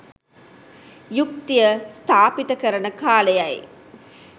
යුක්තිය ස්ථාපිත කරන කාලයයි